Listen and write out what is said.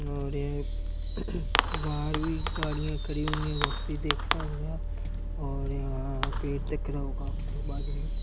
और एक बाहर भी गाडियाँ खड़ी हुई हैं बहोत सी और यहाँ पे टकराव --